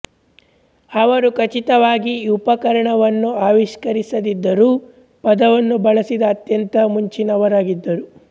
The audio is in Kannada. ಅವರು ಖಚಿತವಾಗಿ ಈ ಉಪಕರಣವನ್ನು ಆವಿಷ್ಕರಿಸದಿದ್ದರೂ ಪದವನ್ನು ಬಳಸಿದ ಅತ್ಯಂತ ಮುಂಚಿನವರಾಗಿದ್ದರು